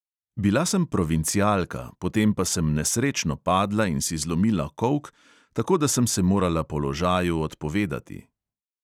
Bila sem provincialka, potem pa sem nesrečno padla in si zlomila kolk, tako da sem se morala položaju odpovedati.